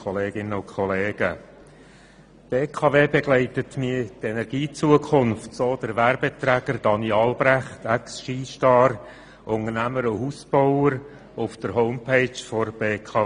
Die BKW begleite mich in die Energiezukunft, so der Werbeträger Daniel Albrecht, ExSkistar, Unternehmer und Hausbauer auf der Website der BKW.